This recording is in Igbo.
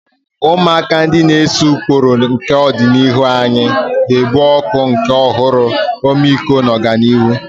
Ụmụaka, ndị na-ese ụkpụrụ nke ọdịnihu anyị, ga-ebu ọkụ nke ọhụrụ, ọmịiko na ọganihu.